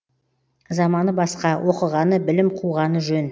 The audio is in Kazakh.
заманы басқа оқығаны білім қуғаны жөн